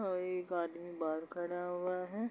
ओर एक आदमी बाहर खड़ा हुआ है |